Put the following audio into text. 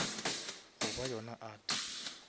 goba yona art